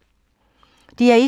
DR1